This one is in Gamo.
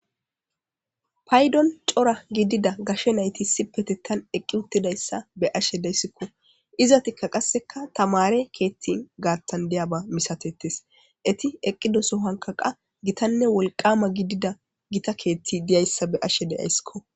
Payddon cora gidida gashshe nayti issipetetan eqqi uttidayssa be'ashe deyssikko izatikka qasseka tamare keethtin gaattan deyaba misatetes eti eqqidoso hankaqa gitanne wolqama gidida gita keethti diyayssa be'ashe deyaysskko